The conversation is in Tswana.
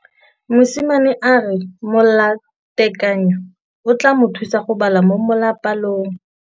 Mosimane a re molatekanyô o tla mo thusa go bala mo molapalong.